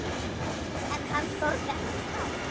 En hann þorði ekki fram.